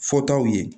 Fɔtaw ye